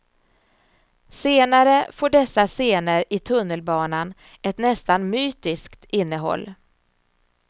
Senare får dessa scener i tunnelbanan ett nästan mytiskt innehåll.